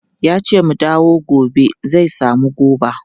Yace mu dawo gobe zai samu goba.